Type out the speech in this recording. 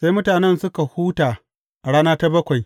Sai mutanen suka huta a rana ta bakwai.